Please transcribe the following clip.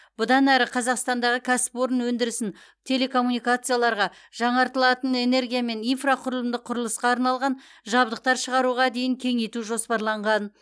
бұдан әрі қазақстандағы кәсіпорын өндірісін телекоммуникацияларға жаңартылатын энергия мен инфрақұрылымдық құрылысқа арналған жабдықтар шығаруға дейін кеңейту жоспарланған